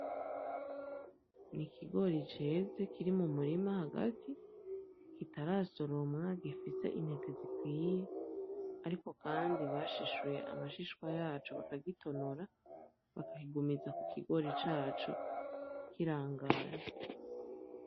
N'ikigori ceze kiri mu murima hagati, kitarasoromwa, gifise intete zikiye, ariko kandi bashishuye amashishwa yaco bakagitonora bakakigumiza ku kigori caco kirangaye.